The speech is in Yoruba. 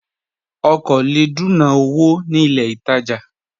Ọ̀ kọ́ lẹ̀ dùnà owó ní ilẹ̀ ìtajà